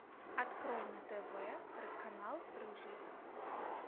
открой на тв канал рыжий